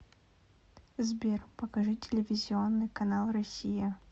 сбер покажи телевизионный канал россия